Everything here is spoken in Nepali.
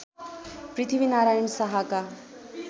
पृथ्वी नारायण शाहका